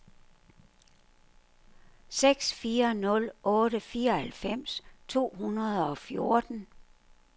seks fire nul otte fireoghalvfems to hundrede og fjorten